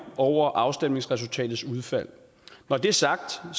over afstemningsresultatet når det er sagt har